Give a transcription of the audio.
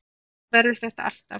Þannig verður þetta alltaf.